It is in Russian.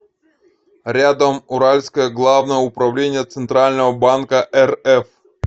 рядом уральское главное управление центрального банка рф